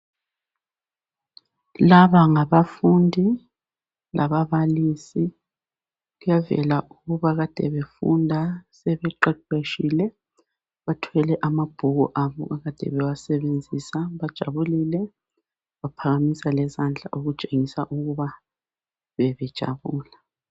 Laba ngabafundi lababalisi kuyabonakala ukuthi bebefunda sebeqeqetshile .Bathwele amabhuku abo abekade bewasebenzisa bajabulile baphakamisa lezandla okutshengisa ukuthi bebejabula.